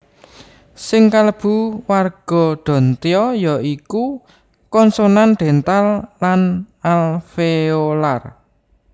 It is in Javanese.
Sing kalebu warga dantya ya iku konsonan dental lan alveolar